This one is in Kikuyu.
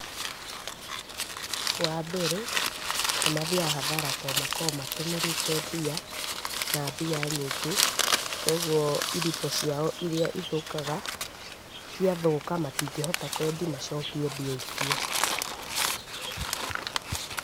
Wa mbere nĩ mathiaga hathara to makoragwo matũmĩrĩte mbia, na mbia nyingĩ, kũguo irio ciao iria ithũkaga, ciathũka matingĩhota kũendia macokie mbia icio .